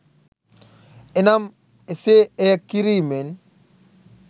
එනම් එසේ එය කිරීමෙන්